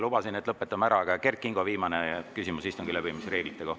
Lubasin, et lõpetame ära, aga Kert Kingo, viimane küsimus istungi läbiviimise reeglite kohta.